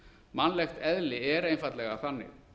mannlegt eðli er einfaldlega þannig